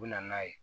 U bɛ na n'a ye